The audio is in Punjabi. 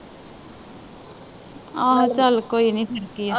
ਆਹੋ ਚਲ ਕੋਈ ਨਹੀਂ ਫਿਰ ਕੀ ਆ।